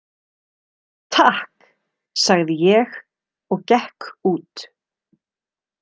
Takk, sagði ég og gekk út.